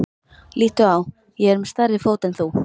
Líttu á, ég er með stærri fót en þú.